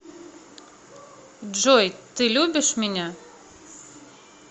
джой ты любишь меня